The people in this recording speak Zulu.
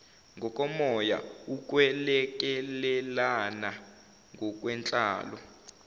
ngokomoya ukwelekelelana ngokwenhlalo